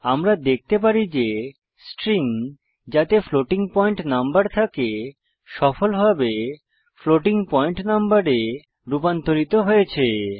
আমরা দেখতে পারি যে স্ট্রিং যাতে ফ্লোটিং পয়েন্ট নম্বর থাকে সফলভাবে ফ্লোটিং পয়েন্ট নম্বরে রুপান্তরিত হয়েছে